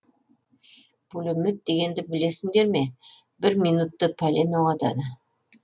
пулемет дегенді білесіңдер ме бір минутте пәлен оқ атады